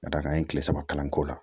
Ka d'a kan an ye kile saba kalan k'o la